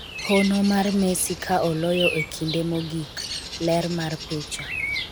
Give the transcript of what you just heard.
hono mar Messi ka oloyo e kinde mogik ler mar picha